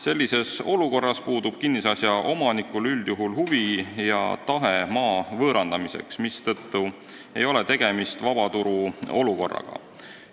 Sellises olukorras puudub kinnisasja omanikul üldjuhul huvi ja tahe maad võõrandada, mistõttu ei ole tegemist vabaturu olukorraga.